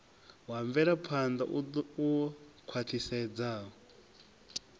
wa mvelaphan ḓa u khwaṱhisedzaho